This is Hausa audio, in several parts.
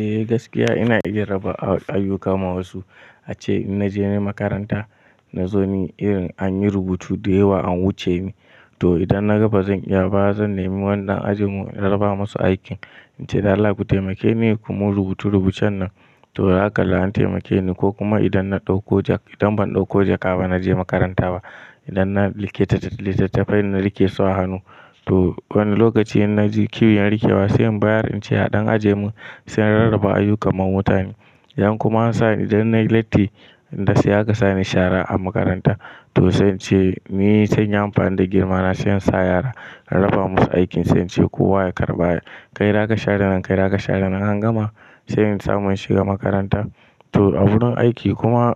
Eh gaskiya ina iya raba ayyuka ma wasu ace in naje makaranta na zo ne irin anyi rubutu da yawa an wuce ni to idan na ga bazan iya ba zan nemi wani ɗan ajin mu in raba masa aikin nace Allah ku taimakeni ku mun rubutual rubucen nan to zaka an taimakeni ko kuma idan na ɗauko jak idan ban ɗauko jaka ba naje makaranta ba idan na likita littattafai na rike su a hannu to wani lokaci in naji kiwon rike wasu bayanin ce haɗan ajin mu sun rarraba ayyuka ma mutane yan kuma an sani idan na yi latti dasu aka sani shara a makaranta to sai ce me sun yi amfani da girmana sai in sa yara in raba musu aikin sai ce kowa ya karɓa kai zaka share nan kai zaka share nan an gama sai in samu shiga makaranta to a wurin aiki kuma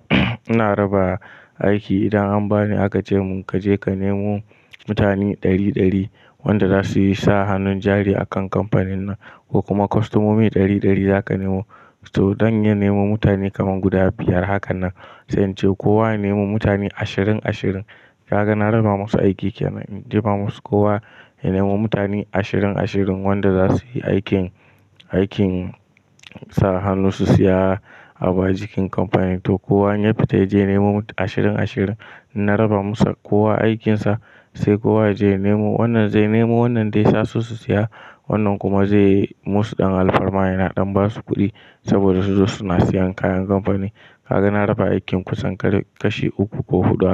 ina raba aiki idan an bani aka ce mun kaje ka nemo mutane ɗari ɗari wanda zasuyi sa hannun jari a kan kamfanin nan ko kuma kwastomomi ɗari ɗari zaka nemo to dan nemo mutane kaman guda biyar hakan nan sai ce kowa ya nemo mutane ashirin ashirin ka ga na raba musu aiki kenan jefa musu kowa ya nemo mutane ashirin ashirin wanda za su yi aikin, aikin sa hannu su siya abu a jikin kamfani to kowa in ya fita yaje nemo ashirin ashirin na raba musu kowa aikinsa sai kowa yaje ya nemo wannan zai nemo wannan dai sasu su siya wannan kuma zai musu dan alfarma yana dan basu kudi sobada suzo suna siyan kayan kamfani kaga na raba aikin kusan kashi uku ko hudu.